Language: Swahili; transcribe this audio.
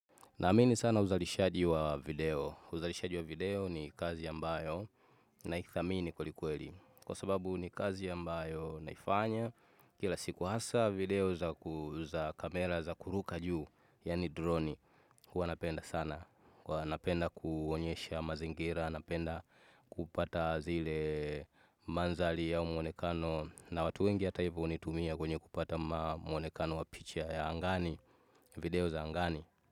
Naamini sana uzalishaji wa video. Uzalishaji wa video ni kazi ambayo naithamini kwelikweli. Kwa sababu ni kazi ambayo naifanya kila siku hasa video za kamera za kuruka juu, yaani droni. Huwa napenda sana. Huwa napenda kuonyesha mazingira, napenda kupata zile mandhari au muonekano na watu wengi hata hivyo hunitumia kwenye kupata muonekano wa picha ya angani, video za angani.